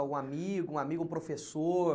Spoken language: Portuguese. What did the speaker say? Algum amigo, um amigo, um professor?